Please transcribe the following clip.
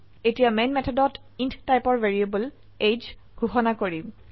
এতিয়া মেন মেথডত ইণ্ট টাইপৰ ভ্যাৰিয়েবল এজিই ঘোষনা কৰিম